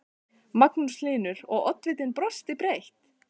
Magnús Hlynur: Og, oddvitinn brosir breytt?